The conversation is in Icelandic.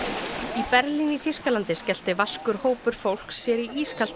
í Berlín í Þýskalandi skellti vaskur hópur fólks sér í ískalt